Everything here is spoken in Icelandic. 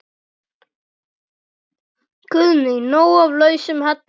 Guðný: Nóg af lausum hellum?